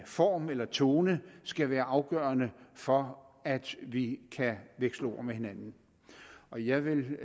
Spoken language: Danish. form eller tone skal være afgørende for at vi kan veksle ord med hinanden og jeg vil